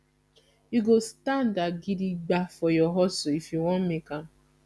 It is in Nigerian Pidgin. you go standa gidigba for your hustle if you wan make am